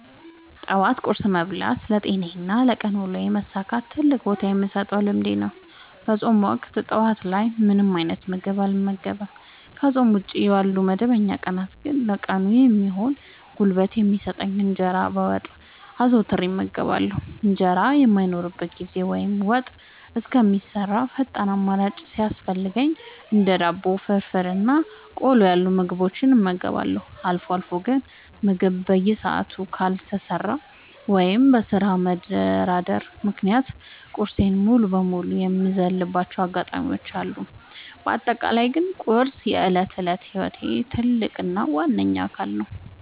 ጠዋት ቁርስ መብላት ለጤናዬና ለቀን ውሎዬ መሳካት ትልቅ ቦታ የምሰጠው ልምዴ ነው። በፆም ወቅት ጠዋት ላይ ምንም አይነት ምግብ አልመገብም። ከፆም ውጪ ባሉ መደበኛ ቀናት ግን ለቀኑ የሚሆን ጉልበት የሚሰጠኝን እንጀራ በወጥ አዘውትሬ እመገባለሁ። እንጀራ በማይኖርበት ጊዜ ወይም ወጥ እስከሚሰራ ፈጣን አማራጭ ሲያስፈልገኝ እንደ ዳቦ፣ ፍርፍር እና ቆሎ ያሉ ምግቦችን እመገባለሁ። አልፎ አልፎ ግን ምግብ በሰዓቱ ካልተሰራ ወይም በስራ መደራረብ ምክንያት ቁርሴን ሙሉ በሙሉ የምዘልባቸው አጋጣሚዎች አሉ። በአጠቃላይ ግን ቁርስ የዕለት ተዕለት ህይወቴ ትልቅ እና ዋነኛ አካል ነው።